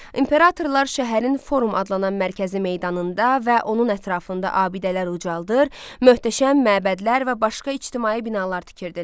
İmperatorlar şəhərin forum adlanan mərkəzi meydanında və onun ətrafında abidələr ucaldır, möhtəşəm məbədlər və başqa ictimai binalar tikirdilər.